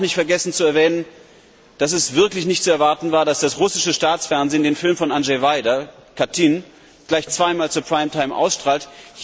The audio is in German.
Ich will auch nicht vergessen zu erwähnen, dass wirklich nicht zu erwarten war, dass das russische Staatsfernsehen den Film von Andrzej Wajda, Katyn, gleich zweimal zur Hauptsendezeit ausstrahlt.